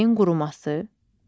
Çayın quruması.